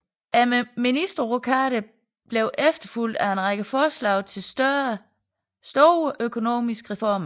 Ministerrokaden blev efterfulgt af en række forslag til store økonomiske reformer